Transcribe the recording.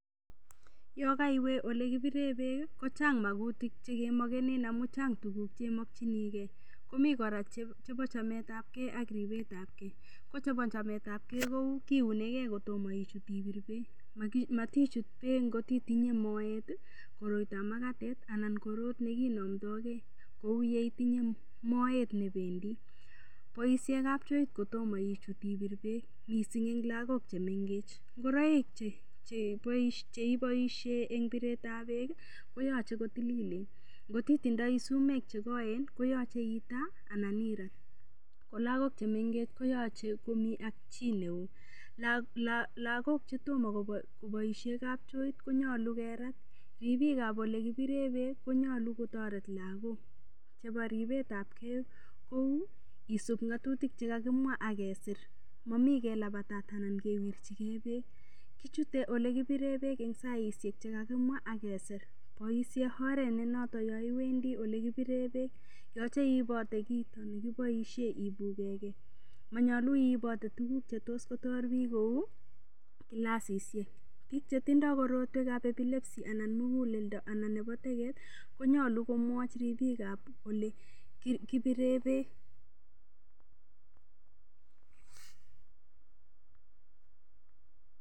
Yo kaiwe ole kipiree beek kochang' makutik chekemokenen amun chang' tukuk chemokchingei komi kora komi kora chebo chametab kei ak ribetab kei ko chebo chametab kei keunigei kotomo ichut ibir beek matichut beek ngotitinye moet koroitoab makatet anan korot nekinomtoigei kou yeitinye moet nebendi boishe kapchoit Kotomo ichut ibir beek mising' eng' lagok chemengech ngoroik cheiboishe eng' biretab beek koyochei kotililen ngotitindoi sumek chekoen koyochei itaa anan irat ko lagok chemengech koyochei komi ak chi neo lagok chetomo koboishe kapchoit konyolu kerat ribikab ole kibire beek konyolu kotoret lagok nebo ribetab kei kou isup ng'otutik chekakimwa akesir momi kelabatat anan kewirchigei beek ichutei ole kibire beek eng' saishek chekakimwa akesir boishe oret nenoto yo iwendi ole kibire beek yochei iibote kit nekiboishe ibukekei manyolu iibote tukuk chetos Kotor biik kou kilasishek biik chetindoi korotwekab epilepsy anan muguleldo anan ko nebo teget konyolu komwoch ribikab ole kibire beek